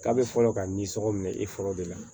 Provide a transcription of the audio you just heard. K'a bɛ fɔlɔ ka nisɔngo minɛ i fɔlɔ de la